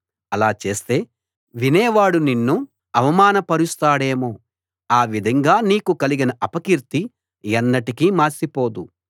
అలా చేస్తే వినేవాడు నిన్ను అవమానపరుస్తాడేమో ఆ విధంగా నీకు కలిగిన అపకీర్తి ఎన్నటికి మాసిపోదు